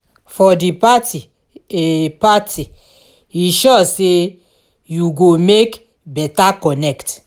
for di party e party e sure say yu go mek beta connect